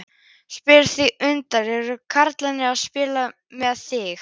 Spyr því undrandi: Eru karlarnir að spila með mig?